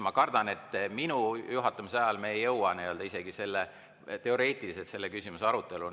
Ma kardan, et minu juhatamise ajal me ei jõua isegi teoreetiliselt selle küsimuse aruteluni.